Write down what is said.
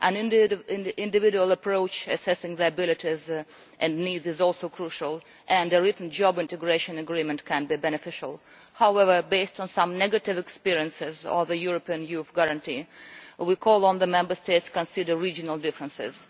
An individual approach, assessing people's abilities and needs, is also crucial, and a written job integration agreement can be beneficial. However, on the basis of some negative experiences of the European Youth Guarantee, we call on the Member States to consider regional differences.